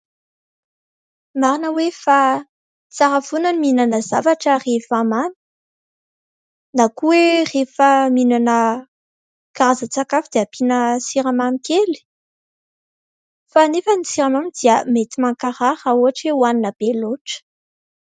Marina hoe fa tsara foana ny mihinana zavatra rehefa mamy, na koa hoe rehefa mihinana karazan-tsakafo dia ampiana siramamy kely. Fa anefa ny siramamy dia mankarary rehefa hoanina be loatra.